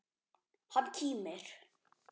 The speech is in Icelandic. Hann kímir.